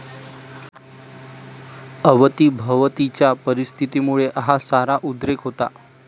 अवतीभवतीच्या परिस्थितीमुळं हा सारा उद्रेक होता.